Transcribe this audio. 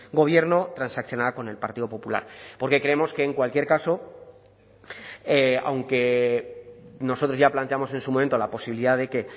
gobierno transaccionada con el partido popular porque creemos que en cualquier caso aunque nosotros ya planteamos en su momento la posibilidad de que